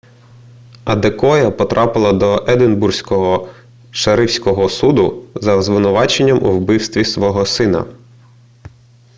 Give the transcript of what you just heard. адекоя потрапила до единбурзького шерифського суду за звинуваченням у вбивстві свого сина